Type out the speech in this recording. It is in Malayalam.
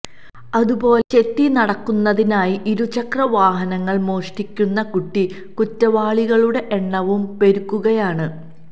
അത് പോലെ ചെത്തി നടക്കുന്നതിനായി ഇരുചക്ര വാഹനങ്ങള് മോഷ്ടിക്കുന്ന കുട്ടി കുറ്റവാളികളുടെ എണ്ണവും പെരുകുകയാണ്